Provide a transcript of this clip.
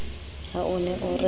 ha o ne o re